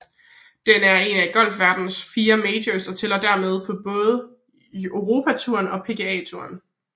Den er en golfverdenens fire majors og tæller dermed både på Europatouren og PGA Touren